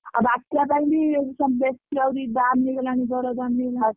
ଆଉ ବାତ୍ୟା ପାଇଁ ବି ବେଶୀ ଆହୁରି ଦାମ ହେଇଗଲାଣି ଦର ଦାମ।